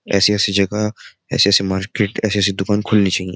ऐसी-ऐसी जगह ऐसे-ऐसे मार्केट ऐसी-ऐसी दुकान खुलनी चाहिए।